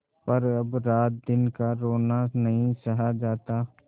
पर अब रातदिन का रोना नहीं सहा जाता